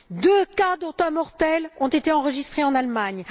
Deux cas, dont un mortel, ont été enregistrés en Allemagne